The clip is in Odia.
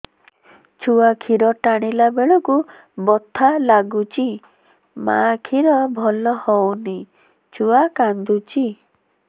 ଛୁଆ ଖିର ଟାଣିଲା ବେଳକୁ ବଥା ଲାଗୁଚି ମା ଖିର ଭଲ ହଉନି ଛୁଆ କାନ୍ଦୁଚି